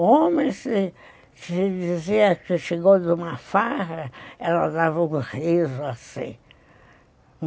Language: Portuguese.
O homem, se se dizia que chegou de uma farra, ela dava um riso assim.